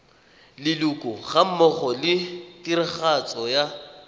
leloko gammogo le tiragatso ya